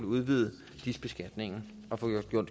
udvidet dis beskatningen og får